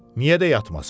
Niyə də yatmasın?